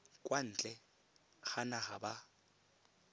kwa ntle ga naga ba